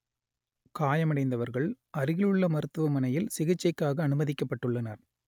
காயமடைந்தவர்கள் அருகிலுள்ள மருத்துவமனையில் சிகிச்சைக்காக அனுமதிக்கப்பட்டுள்ளனர்